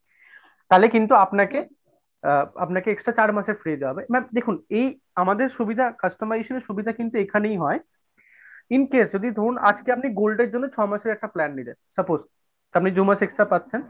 তাহলে কিন্তু আপনাকে আ আপনাকে extra চার মাসের free দেওয়া হবে but দেখুন এই আমাদের সুবিধা customization এর সুবিধা কিন্তু এইখানেই হয়, in case যদি ধরুন আজকে আপনি gold এর জন্য ছমাসের একটা plan নিলেন। suppose আপনি দুমাস extra পাচ্ছেন।